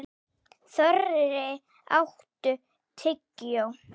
Þorri, áttu tyggjó?